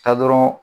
Taa dɔrɔn